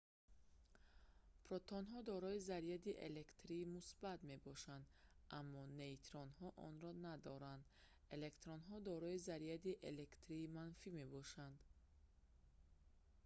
протонҳо дорои заряди электрии мусбат мебошанд аммо нейтронҳо онро надоранд электронҳо дорои заряди электрии манфӣ мебошанд